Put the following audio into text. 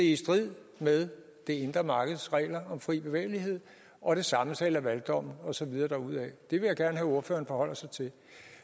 i strid med det indre markeds regler om fri bevægelighed og det samme sagde lavaldommen og så videre derudad det vil jeg gerne have at ordføreren forholder sig til